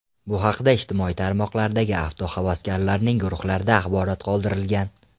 Bu haqda ijtimoiy tarmoqlardagi avtohavaskorlarning guruhlarida axborot qoldirilgan.